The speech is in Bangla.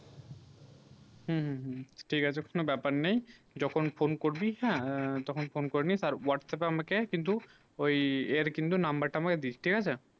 হম হম হম ঠিক আছে কোনো ব্যাপার নেই যখন phone করবি হেঁ তখন phone করেনিস আর whatsapp এ আমাকে কিন্তু এর কিন্তু number তা দিস ঠিক আছে